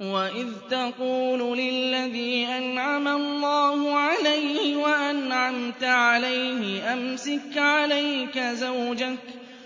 وَإِذْ تَقُولُ لِلَّذِي أَنْعَمَ اللَّهُ عَلَيْهِ وَأَنْعَمْتَ عَلَيْهِ أَمْسِكْ عَلَيْكَ زَوْجَكَ